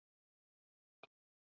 Við erum úti að borða.